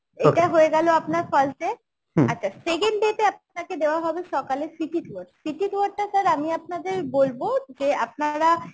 এটা হয়ে গেল আপনার first day আচ্ছা second day তে আপনাকে দেওয়া হবে সকালে city tour city tour টা sir আমি আপনাদের বলব যে আপনারা